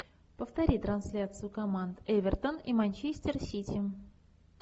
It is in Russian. повтори трансляцию команд эвертон и манчестер сити